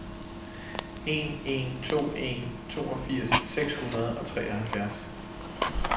en en to en toogfirs seks hundrede og treoghalvfjerds